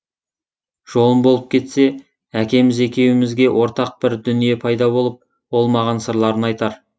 жолым болып кетсе әкеміз екеумізге ортақ бір дүние пайда болып ол маған сырларын айтар